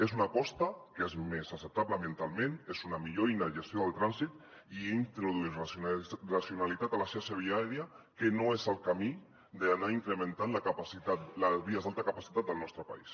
és una aposta que és més acceptable ambientalment és una millor eina de gestió del trànsit i introdueix racionalitat a la xarxa viària que no és el camí d’anar incrementant les vies d’alta capacitat del nostre país